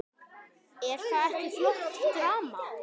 Er það ekki flott drama?